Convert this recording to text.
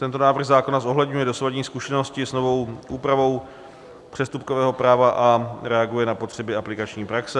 Tento návrh zákona zohledňuje dosavadní zkušenosti s novou úpravou přestupkového práva a reaguje na potřeby aplikační praxe.